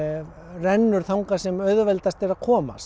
rennur þangað sem auðveldast er að komast